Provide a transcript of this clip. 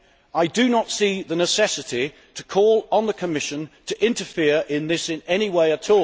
I do not see the necessity to call on the Commission to interfere in this in any way at